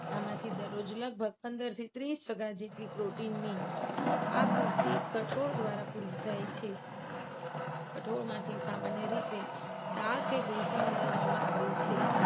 આમાંથી દરરોજ લગભગ પંદર થી ત્રીસ ટકા જેટલી protein ની આ પૂરતી કઠોળ દ્વારા પૂરી થાય છે. કઠોળમાંથી સામાન્ય રીતે દાળ કે બેસન મેળવવામાં આવે છે.